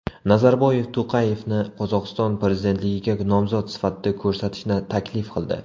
Nazarboyev To‘qayevni Qozog‘iston prezidentligiga nomzod sifatida ko‘rsatishni taklif qildi.